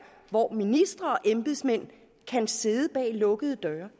hvor ministre og embedsmænd kan sidde bag lukkede døre